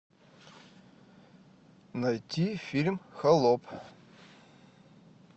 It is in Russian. найти фильм холоп